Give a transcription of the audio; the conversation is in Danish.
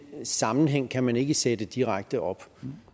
sammenhæng kan man ikke sætte direkte op